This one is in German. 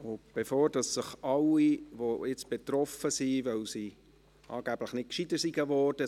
Bevor sich nun all jene melden, die sich betroffen fühlen, weil sie angeblich nicht klüger geworden sind: